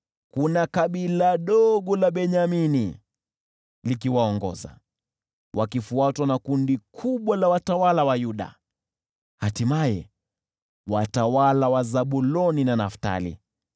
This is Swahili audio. Liko kabila dogo la Benyamini likiwaongoza, wakifuatwa na kundi kubwa la watawala wa Yuda, hatimaye watawala wa Zabuloni na Naftali.